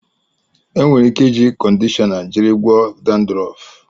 E nwere ike iji kọndishọna jiri gwọọ dandrọf.